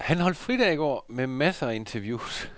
Han holdt fridag i går, med masser af interviews.